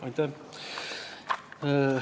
Aitäh!